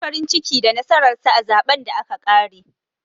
Sun yi matuƙar farin ciki da nasarar sa a zaɓen da aka ƙare.